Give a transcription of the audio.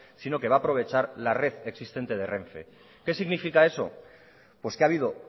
sino que va aprovechar la red existente de renfe qué significa eso pues que ha habido